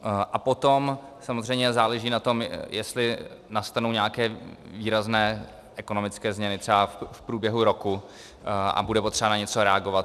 A potom samozřejmě záleží na tom, jestli nastanou nějaké výrazné ekonomické změny třeba v průběhu roku a bude potřeba na něco reagovat.